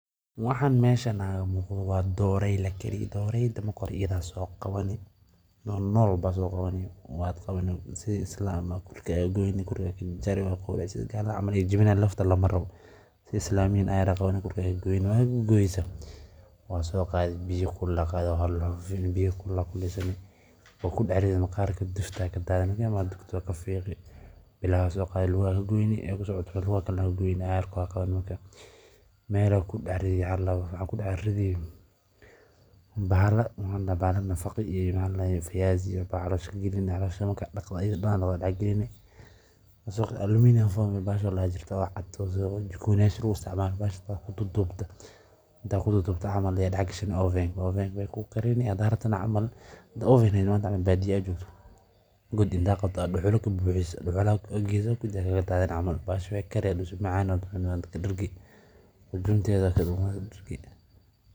sidoo kale waxay bixiyaan hadh iyo bilic, taasoo sare u qaadda raaxada iyo quruxda deegaanada. Dadaallada lagu beero geedo badan, gaar ahaan kuwa deegaanka u dhashay, waxay kaalin muhiim ah ka qaataan la dagaallanka isbeddelka cimilada iyo kor u qaadista wacyiga bulshada ee dhanka deegaanka.